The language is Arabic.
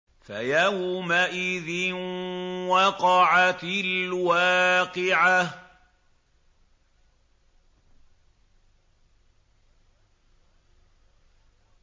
فَيَوْمَئِذٍ وَقَعَتِ الْوَاقِعَةُ